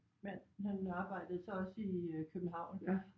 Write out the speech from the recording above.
Mand han arbejdede så også i København der